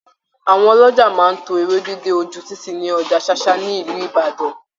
Àwọn ọlọ́jà máa tó Ewédú dé oju títì ní Ọjà Ṣáṣá ní Ìlú Ìbàdàn.